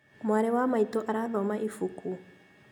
Mwarĩ wa maitũ arathoma ibuku